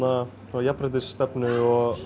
svona jafnréttisstefnu og